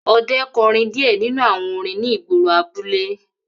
Ọdẹ kọrin diẹ ninu awọn orin ni igboro abule